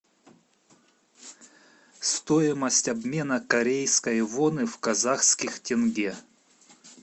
стоимость обмена корейской воны в казахских тенге